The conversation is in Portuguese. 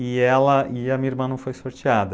E ela, e a minha irmã não foi sorteada.